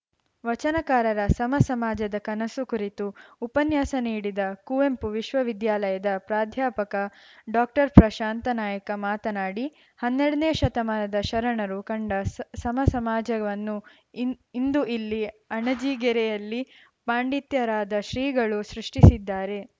ವಚನಕಾರರ ಸಮ ಸಮಾಜದ ಕನಸು ಕುರಿತು ಉಪನ್ಯಾಸ ನೀಡಿದ ಕುವೆಂಪು ವಿಶ್ವವಿದ್ಯಾಲಯದ ಪ್ರಾಧ್ಯಾಪಕ ಡಾಕ್ಟರ್ಪ್ರಶಾಂತ ನಾಯಕ ಮಾತನಾಡಿ ಹನ್ನೆರಡನೇ ಶತಮಾನದ ಶರಣರು ಕಂಡ ಸ್ ಸಮ ಸಮಾಜವನ್ನು ಇಂದು ಇಲ್ಲಿ ಅಣಜಿಗೆರೆಯಲ್ಲಿ ಪಂಡಿತ್ಯರಾದ ಶ್ರೀಗಳು ಸೃಷ್ಟಿಸಿದ್ದಾರೆ